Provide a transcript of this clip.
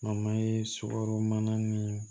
sukaro mana ni